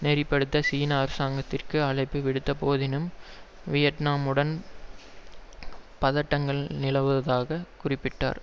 நெறிப்படுத்த சீன அரசாங்கத்திற்கு அழைப்பு விடுத்த போதினும் வியட்நாமுடன் பதட்டங்கள் நிலவுவதாக குறிப்பிட்டார்